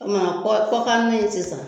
O tuma kɔ kan na in ye sisan